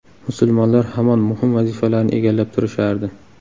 Musulmonlar hamon muhim vazifalarni egallab turishardi.